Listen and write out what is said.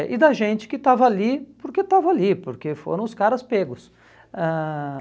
e da gente que estava ali, porque estava ali, porque foram os caras pegos. Ãh